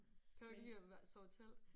Kan du ikke lide at være sove i telt?